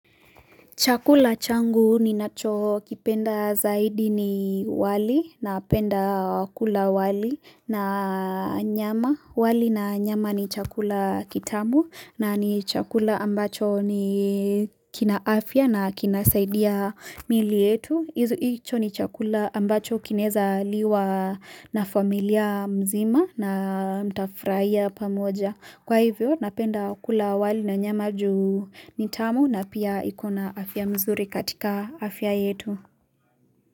Chakula changu ninachokipenda zaidi ni wali napenda kula wali na nyama. Wali na nyama ni chakula kitamu na ni chakula ambacho ni, kina afya na kinasaidia mili yetu. Hicho ni chakula ambacho kinaweza liwa na familia mzima na mtafurahia pamoja. Kwa hivyo napenda kula wali na nyama ju ni tamu na pia iko na afya mzuri katika afya yetu.